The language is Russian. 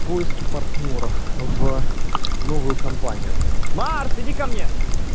поиске партнёров в новую компанию марс иди ко мне